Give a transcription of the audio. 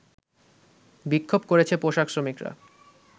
বিক্ষোভ করেছে পোশাক শ্রমিকরা